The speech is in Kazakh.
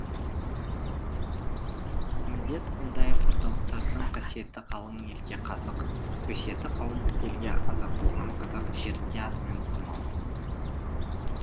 міндет ондай орталықтардың қасиеті қалың елге қазық өсиеті қауым елге азық болған қазақ жерінде атымен болмауы